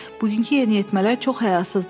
Bugünkü yeniyetmələr çox həyasızdırlar.